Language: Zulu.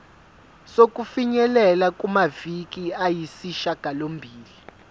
sokufinyelela kumaviki ayisishagalombili